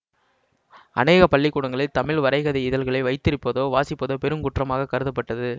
அனேக பள்ளிக்கூடங்களில் தமிழ் வரைகதை இதழ்களை வைத்திரிப்பதோ வாசிப்பதோ பெரும் குற்றமாக கருதப்பட்டது